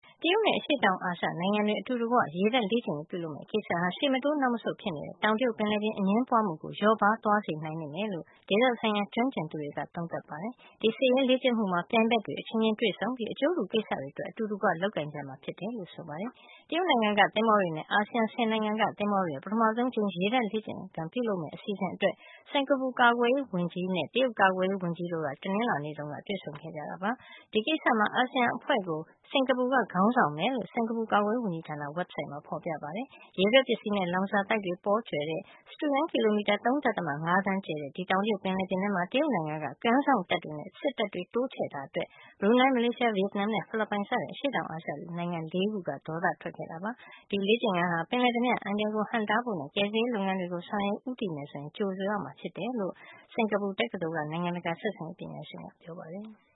တရုတ်နဲ့ အရှေ့တောင်အာရှနိုင်ငံတွေ အတူတကွ ရေတပ်လေ့ကျင့်ရေးပြုလုပ်မယ့်ကိစ္စဟာ ရှေ့မတိုးနောက်မဆုတ်ဖြစ်နေတဲ့ တောင်တရုတ်ပင်လယ်ပြင် အငြင်းပွားမှုကို လျော့ပါးသွားစေနိုင်လိမ့်မယ်လို့ ဒေသဆိုင်ရာ ကျွမ်းကျင်သူတွေက သုံးသပ်ပါတယ်။ ဒီစစ်ရေးလေ့ကျင့်မှုမှာ ပြိုင်ဘက်တွေအချင်းချင်းတွေ တွေ့ဆုံပြီး အကျိုးတူကိစ္စတွေအတွက် အတူတကွ လုပ်ကိုင်ကြမှာဖြစ်တယ်လို့ ဆိုပါတယ်။ တရုတ်နိုင်ငံက သင်္ဘောတွေနဲ့ အာဆီယံ ၁၀နိုင်ငံက သင်္ဘောတွေ ပထမဆုံးအကြိမ် ရေတပ်လေ့ကျင့်ရေး ပြုလုပ်မယ့်အစီအစဉ်အတွက် စင်ကာပူ ကာကွယ်ရေးဝန်ကြီးနဲ့ တရုတ်ကာကွယ်ရေးဝန်ကြီးတို့က တနင်္လာနေ့တုန်းက တွေ့ဆုံခဲ့ကြတာပါ။ ဒီကိစ္စမှာ အာဆီယံအဖွဲ့ကို စင်ကာပူက ခေါင်းဆောင်မယ်လို့ စင်ကာပူကာကွယ်ရေးဝန်ကြီးဌာန ဝဘ်ဆိုက်ဒ်မှာ ဖော်ပြပါတယ်။ ရေထွက်ပစ္စည်းနဲ့ လောင်စာသိုက်တွေ ပေါကြွယ်တဲ့ စတုရန်းကီလိုမီတာ ၃.၅သန်း ကျယ်တဲ့ ဒီတောင်တရုတ်ပင်လယ်ပြင်ထဲမှာ တရုတ်နိုင်ငံက ကမ်းစောင့်တပ်တွေနဲ့ စစ်တပ်တွေ တိုးချဲ့တာအတွက် ဘရူနိုင်း မလေးရှား ဗီယက်နမ်နဲ့ ဖိလစ်ပိုင်စတဲ့ အရှေ့တောင်အာရှနိုင်ငံ ၄ခုက ဒေါသထွက်ခဲ့တာပါ။ ဒီလေ့ကျင့်ခန်းဟာ ပင်လယ်ဓားပြ အန္တရာယ်ကို ဟန့်တားဖို့နဲ့ ကယ်ဆယ်ရေးလုပ်ငန်းတွေကို ဆောင်ရွက်ဖို့ ဦးတည်မယ်ဆိုရင် ကြိုဆိုရမှာဖြစ်တယ်လို့ စင်ကာပူတက္ကသိုလ်က နိုင်ငံတကာဆက်ဆံရေးပညာရှင်ကပြောပါတယ်။